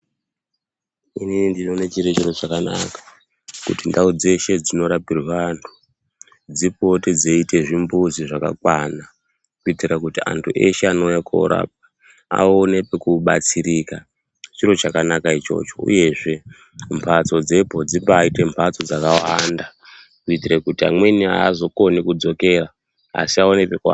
Inini ndinoone chiri chiro chakanaka, kuti ndau dzeshe dzinorapirwe antu dzipote dzeiite zvimbuzi zvakakwana kuitire kuti antu eshe anouya korapwa aone pekubatsirika. Chiro chakanaka ichocho, uyezve mbatso dzepo dzimbaite mbatso dzakawanda kuitire kuti amweni haazokoni kudzokera asi aone pekuata